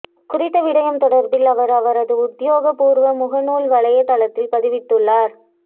குறித்த விடயம் தொடர்பில் அவர் அவரது உத்தியோகப்பூர்வ மூகநூல் வலையத்தளத்தில் பதிவிட்டுள்ளார்